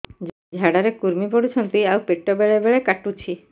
ଝାଡା ରେ କୁର୍ମି ପଡୁଛନ୍ତି ଆଉ ପେଟ ବେଳେ ବେଳେ କାଟୁଛି